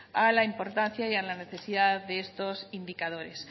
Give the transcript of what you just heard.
a la importancia y a la necesidad de estos indicadores